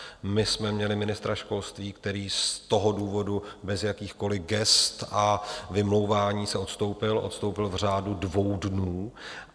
My jsme měli ministra školství, který z toho důvodu, bez jakýchkoliv gest a vymlouvání se, odstoupil, odstoupil v řádu dvou dnů.